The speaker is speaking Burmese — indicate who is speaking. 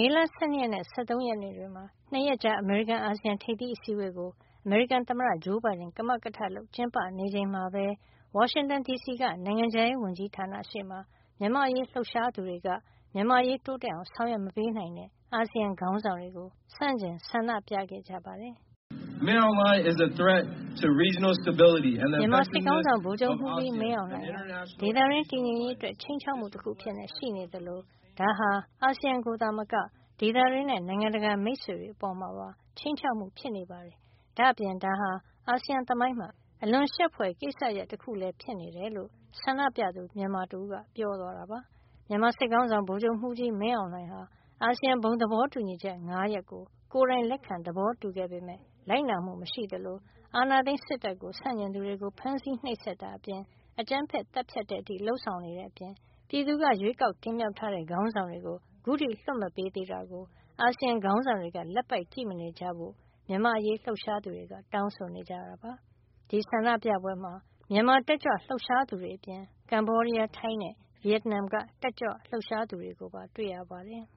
Speaker 1: ေလ ၁၂ ရက်နဲ့ ၁၃ ရက်နေ့ တွေမှာ ၂ ရက်ကြာ အမေရိကန် - အာဆီယံ ထိပ်သီး အစည်းဝေးကို အမေရိကန် သမ္မတဂျိုးဘိုင်ဒန်က ကမကထလုပ် ကျင်းပေးနေချိန်မှာပဲ ဝါရှင်တန်ဒီစီက နိုင်ငံခြားရေးဝန်ကြီးဌာနရှေ့မှာ မြန်မာ့အရေးလှုပ်ရှားသူတွေက မြန်မာ့အရေး တိုးတက်အောင် ဆောင်ရွက်မပေးနိုင်တဲ့ အာဆီယံ ခေါင်းဆောင်တွေကို ဆန့်ကျင်ဆန္ဒပြခဲ့ကြပါတယ်
Speaker 2: ။ " မြန်မာစစ်ခေါင်းဆောင်
Speaker 1: ဗိုလ်ချုပ်မှူးကြီး မင်းအောင်လှိုင်ဟာ ဒေသတွင်း တည်ငြိမ်ရေးအတွက် ခြိမ်းခြောက်မှုတခု အဖြစ်ရှိနေသလို၊ ဒါဟာ အာဆီယံကိုသာမက ဒေသတွင်းနဲ့ နိုင်ငံတကာ မိတ်ဆွေတွေ အပေါ်မှာပါ ခြိမ်းခြောက်မှုဖြစ်နေပါတယ်။ ဒါ့အပြင် ဒါဟာ အာဆီယံ သမိုင်းမှာ အလွန်ရှက်ဖွယ် ကိစ္စရပ် တခုလည်း ဖြစ်နေတယ်လို့ ဆန္ဒပြသူ မြန်မာတဦးက ပြောသွားတာပါ" မြန်မာစစ်ခေါင်းဆောင် ဗိုလ်ချုပ်မှုးကြီး မင်းအောင်လှိုင်ဟာ အာဆီယံ ဘုံသဘောတူညီချက် ၅ ရပ်ကို ကိုယ်တိုင်လက်ခံ သဘောတူခဲ့ပေမယ့် လိုက်နာမှု မရှိသလို အာဏာသိမ်းစစ်တပ် ဆန့်ကျင်သူတွေကို ဖမ်းဆီးနှိပ်စက်တာအပြင် အကြမ်းဖက် သတ်ဖြတ်တဲ့အထိ လုပ်ဆောင်နေတဲ့ အပြင် ပြည်သူက ရွေးကောက်တင်မြှောက်ထားတဲ့ ခေါင်းဆောင်တွေကို အခုထိလွှတ်မပေးသေးတာကို အာဆီယံ ခေါင်းဆောင်တွေက လက်ပိုက်ကြည့်မနေကြဖို့ မြန်မာ့အရေး လှုပ်ရှားသူတွေက တောင်းဆိုနေကြတာပါ။ ဒီဆန္ဒပြပွဲမှာ မြန်မာတက်ကြွလှုပ်ရှားသူတွေ အပြင် ကမ္ဘောဒီးယား၊ ထိုင်းနဲ့ ဗီယက်နမ်က တက်ကြွလှုပ်ရှားသူတွေကိုပါ တွေ့ရပါတယ်။